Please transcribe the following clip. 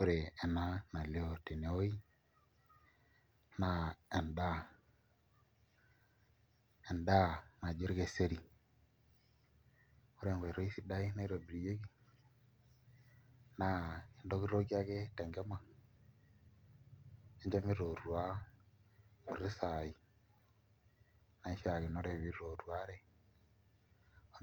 Ore ena nalioo tewuei naa endaa, endaa naji orkeseri ore enkoitoi sidai naitobirieki naa intokitokie ake te enkima ninco mitootua nkuti saai naishiakinore piitootuare